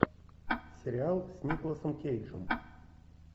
сериал с николосом кейджем